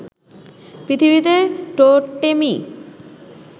পৃথিবীতে টোটেমই